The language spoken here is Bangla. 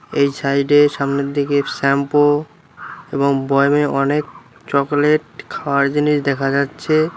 এই সাইডে সামনের দিকে শ্যাম্পু এবং বয়ামে অনেক চকলেট খাওয়ার জিনিস দেখা যাচ্ছে।